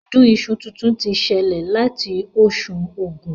Ọdún iṣu tuntun ti ṣẹlẹ̀ láti oṣù Ògún